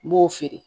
N b'o feere